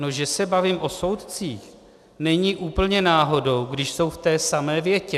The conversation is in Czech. No, že se bavím o soudcích, není úplně náhodou, když jsou v té samé větě.